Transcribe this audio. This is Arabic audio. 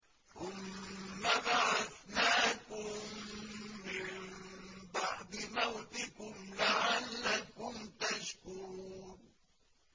ثُمَّ بَعَثْنَاكُم مِّن بَعْدِ مَوْتِكُمْ لَعَلَّكُمْ تَشْكُرُونَ